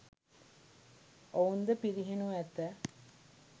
ඔවුන් ද පිරිහෙනු ඇත.